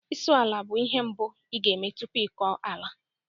Isụ ala bụ ihe mbụ ị ga-eme tupu ịkọ ala